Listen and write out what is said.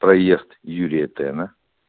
проезд юрия тена